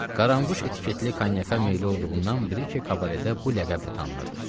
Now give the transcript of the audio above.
Qaranquş etiketli konyaka meyilli olduğundan Brike kabaredə bu ləqəblə tanınırdı.